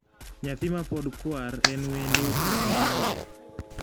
Nyathi mapod kwar en wendo ka onywole.